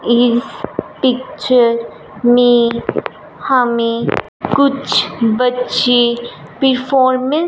इस पिक्चर में हमें कुछ बच्चे परफॉर्मेंस --